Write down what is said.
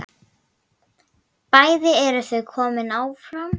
Bæði eru þau komin áfram.